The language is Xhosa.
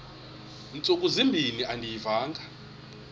ntsuku zimbin andiyivanga